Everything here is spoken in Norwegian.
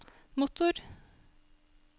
motor